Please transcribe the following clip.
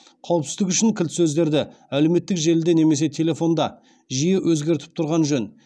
қауіпсіздік үшін кілт сөздерді жиі өзгертіп тұрған жөн